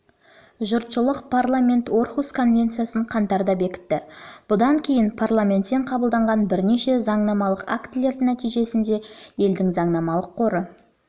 жұртшылықтың қатысуы парламент орхусс конвенциясын қаңтарда бекітті бұдан кейін парламентпен қабылданған бірнеше заңнамалық актілердің нәтижесінде елдің заңнамалық қоры